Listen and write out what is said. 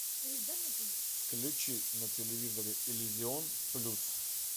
включи на телевизоре иллюзион плюс